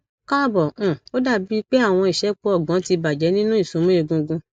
kaabo um o dabi pe awọn isẹpo ọgbọn ti bajẹ nitori isunmọ egungun